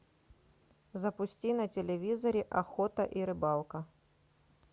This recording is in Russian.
запусти на телевизоре охота и рыбалка